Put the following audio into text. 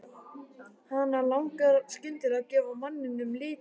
Hana langar skyndilega að gefa manninum liti.